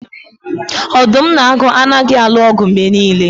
Odum na agu anaghị alụ ọgụ mgbe niile